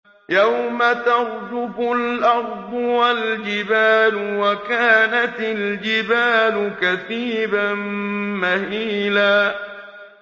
يَوْمَ تَرْجُفُ الْأَرْضُ وَالْجِبَالُ وَكَانَتِ الْجِبَالُ كَثِيبًا مَّهِيلًا